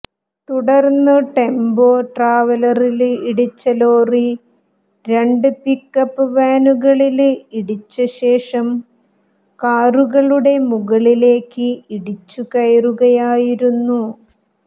തുടര്ന്നു ടെമ്പോ ട്രാവലറില് ഇടിച്ച ലോറി രണ്ട് പിക്കപ്പ് വാനുകളില് ഇടിച്ചശേഷം കാറുകളുടെ മുകളിലേക്ക് ഇടിച്ചുകയറുകയായിരുന്നു